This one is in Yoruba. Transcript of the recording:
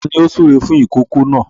Ta ni ó ń súre fún ìkòkò náà?